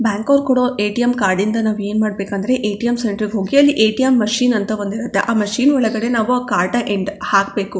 ಬ್ಯಾಂಕಾಕೋ ಕೋಡೋ ATM. Card ಇಂದ ನಾವೇನ್ ಮಾಡಬೇಕಂದ್ರೆ ಎ.ಟಿ.ಎಮ್. ಸೆಂಟ್ರಿಗೆ ಹೋಗಿ ಅಲ್ಲಿ ಎ.ಟಿ.ಎಮ್. ಮಷೀನ್ ಅಂತ ಒಂದು ಇರುತ್ತೆ ಆ ಮಷೀನ್ ಒಳಗಡೆ ನಾವು ಕಾರ್ಟ ಎಂಡ್ ಹಾಕಬೇಕು.